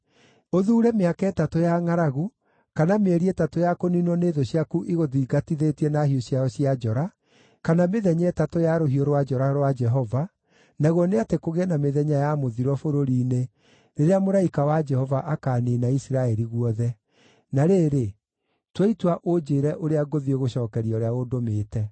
Ũthuure mĩaka ĩtatũ ya ngʼaragu, kana mĩeri ĩtatũ ya kũniinwo nĩ thũ ciaku igũthingatĩte na hiũ ciao cia njora, kana mĩthenya ĩtatũ ya rũhiũ rwa njora rwa Jehova, naguo nĩ atĩ kũgĩe na mĩthenya ya mũthiro bũrũri-inĩ, rĩrĩa mũraika wa Jehova akaaniinana Isiraeli guothe.’ Na rĩrĩ, tua itua ũnjĩĩre ũrĩa ngũthiĩ gũcookeria ũrĩa ũndũmĩte.”